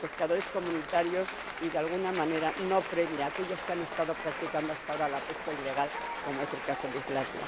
pescadores de la UE y, de alguna manera, no premia a aquellos que han estado practicando hasta ahora una pesca ilegal, como es el caso de Islandia.